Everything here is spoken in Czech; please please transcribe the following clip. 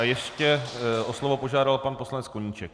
A ještě o slovo požádal pan poslanec Koníček.